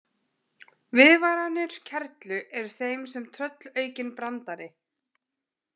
Viðvaranir kerlu eru þeim sem tröllaukinn brandari.